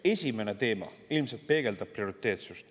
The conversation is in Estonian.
Esimene teema ilmselt peegeldab prioriteetsust.